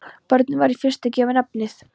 Bornum var í fyrstu gefið nafnið